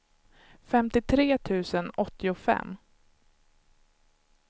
femtiotre tusen åttiofem